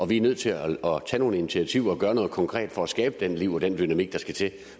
vi nødt til at tage nogle initiativer og gøre noget konkret for at skabe det liv og den dynamik der skal til